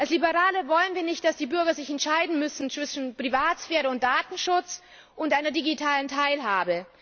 Als Liberale wollen wir nicht, dass die Bürger sich entscheiden müssen zwischen Privatsphäre und Datenschutz und einer digitalen Teilhabe.